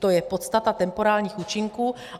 To je podstata temporálních účinků.